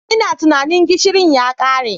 Ina tunanin gishirin ya kare.